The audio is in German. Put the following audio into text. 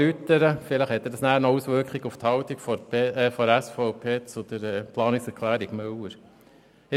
Denn vielleicht hat dies noch Auswirkungen auf die Haltung der SVP in Bezug auf die Planungserklärung Müller.